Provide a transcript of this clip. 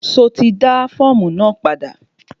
Ṣo ti dá fọ́ọ̀mù náà padà?